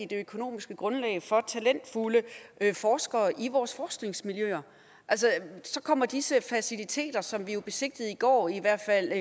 det økonomiske grundlag for talentfulde forskere i vores forskningsmiljøer altså så kommer disse faciliteter som vi jo besigtigede i går i hvert fald